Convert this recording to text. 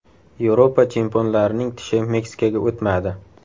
Yevropa chempionlarining tishi Meksikaga o‘tmadi.